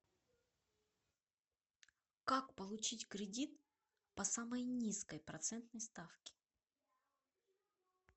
как получить кредит по самой низкой процентной ставке